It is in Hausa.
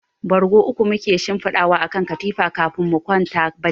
Bargo uku muke shinfidawa a kan katifa kafin mu kwanta bacci.